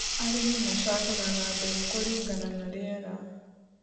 Arĩmi macagũraga mbegu kũringana na rĩera.